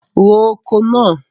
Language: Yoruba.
Ro oko náà!